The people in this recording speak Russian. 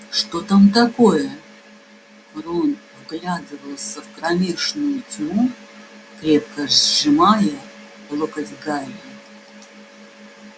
что там такое рон вглядывался в кромешную тьму крепко сжимая локоть гарри